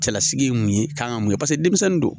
Cɛlasigi ye mun ye kan ka mun kɛ paseke denmisɛnnin do.